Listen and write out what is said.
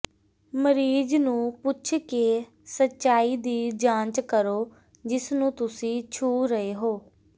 ਮਰੀਜ਼ ਨੂੰ ਪੁੱਛ ਕੇ ਸਚਾਈ ਦੀ ਜਾਂਚ ਕਰੋ ਜਿਸ ਨੂੰ ਤੁਸੀਂ ਛੂਹ ਰਹੇ ਹੋ